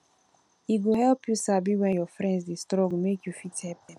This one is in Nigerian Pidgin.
e go help you sabi when your friend de struggle make you fit help am